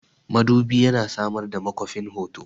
Madubi yana samar da makwafin hoto.